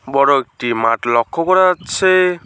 বড়ো একটি মাঠ লক্ষ্য করা যাচ্ছে।